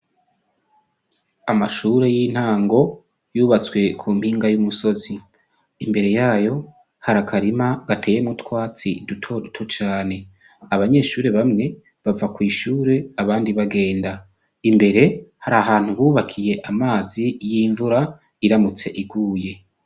Amashure y' intango yubatswe ku nkiga y' umusozi, imbere yoyo hari akarima gateyemwo utwatsi duto duto cane, abanyeshure bamwe bava kwishure abandi bagenda, imbere hari ahantu bubakiye amazi y' imvura iramutse iguye.